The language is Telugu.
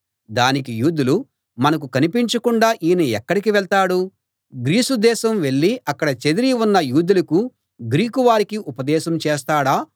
దానికి యూదులు మనకు కనిపించకుండా ఈయన ఎక్కడికి వెళ్తాడు గ్రీసు దేశం వెళ్ళి అక్కడ చెదరి ఉన్న యూదులకు గ్రీకు వారికి ఉపదేశం చేస్తాడా